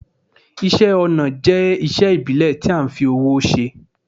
Isẹ́ ọnà jẹ́isé ìbílẹ̀ ti a n fi owó se